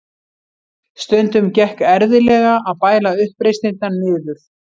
Stundum gekk erfiðlega að bæla uppreisnirnar niður.